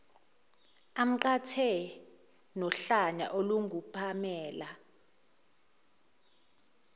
amqhathe nohlanya olungupamela